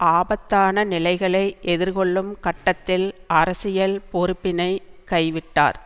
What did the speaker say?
ஆபத்தான நிலைகளை எதிர்கொள்ளும் கட்டத்தில் அரசியல் பொறுப்பினைக் கை விட்டார்